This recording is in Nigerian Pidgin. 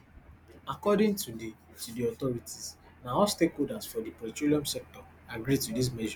according to di to di authorities na all stakeholders for di petroleum sector agree to dis measure